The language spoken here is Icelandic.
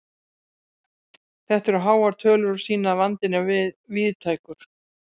Þetta eru háar tölur og sýna að vandinn er víðtækur.